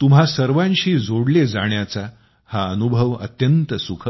तुम्हां सर्वांशी जोडले जाण्याचा हा अनुभव अत्यंत सुखद होता